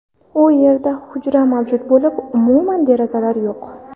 U yerda hujra mavjud bo‘lib, umuman derazalar yo‘q.